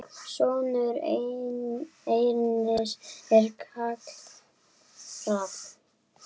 Sonur Ernis er Kári Rafn.